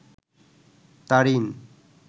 Tarin